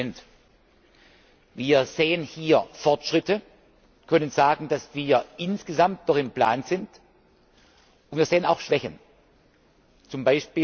20 Wir sehen hier Fortschritte, können sagen, dass wir insgesamt noch im Plan sind, und wir sehen auch Schwächen, z.